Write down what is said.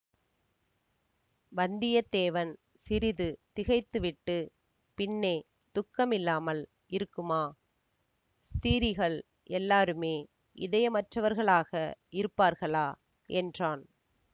வந்தியத்தேவன் சிறிது திகைத்துவிட்டு பின்னே துக்கமில்லாமல் இருக்குமா ஸ்திரீகள் எல்லாருமே இதயமற்றவர்களாக இருப்பார்களா என்றான்